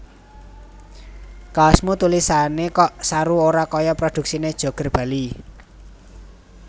Kaosmu tulisane kok saru ora koyo produksine Joger Bali